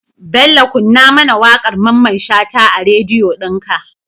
Bello kunna mAna waƙar mamman shata a radio din ka